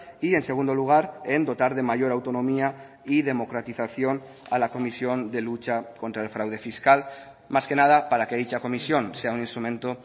y en segundo lugar en dotar de mayor autonomía y democratización a la comisión de lucha contra el fraude fiscal más que nada para que dicha comisión sea un instrumento